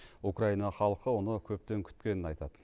украина халқы оны көптен күткенін айтады